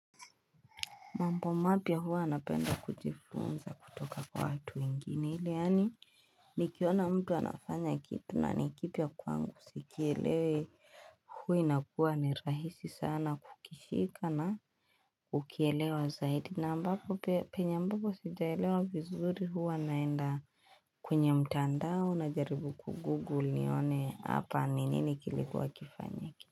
Mambo mapya huwa anapenda kujifunza kutoka kwa watu wengine iliani nikiona mtu anafanya kitu na nikipya kwangu sikielewe huu ina kuwa ni rahisi sana kukishika na ukielewe zaidi na ambapo penye ambako sijaelewe vizuri huwa naenda kwenye mtandao najaribu kugugle nione hapa ni nini kilikuwa kifanyake.